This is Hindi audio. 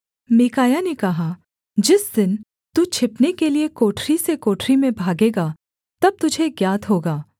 मीकायाह ने कहा जिस दिन तू छिपने के लिये कोठरी से कोठरी में भागेगा तब तुझे ज्ञात होगा